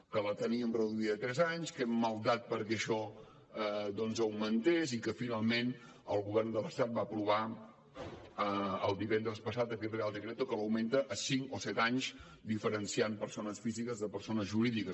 que la teníem reduïda a tres anys que hem maldat perquè això doncs augmentés i que finalment el govern de l’estat va aprovar el divendres passat aquest real decreto que l’augmenta a cinc o set anys diferenciant persones físiques de persones jurídiques